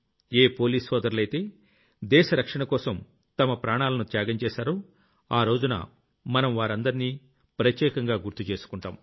ఏ police సోదరులైతే దేశ రక్షణకరోసం తమ ప్రాణాలను త్యాగం చేశారో ఆ రోజున మనం వారందర్నీ మనం ప్రత్యేకంగా గుర్తు చేసుకుంటాం